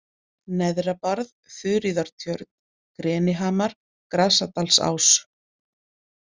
Neðrabarð, Þuríðartjörn, Grenihamar, Grasadalsás